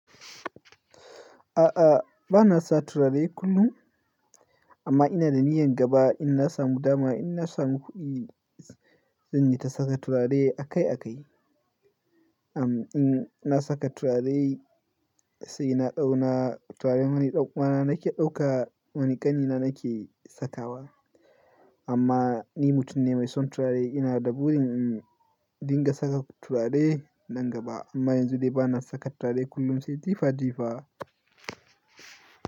A'a, ba na sa turare kullum amma ina da niyan gaba in na samu dama, in na samu kuɗi zan yi ta saka turare a kai a kai. Am in na saka turare sai na ɗau na turare wani ɗan uwana nake ɗauka wani ƙanina nake sakawa. Amma ni mutum ne mai son turare, ina da burin in dinga saka turare nan gaba amma yanzu dai ba na saka turare kullum sai jifa jifa.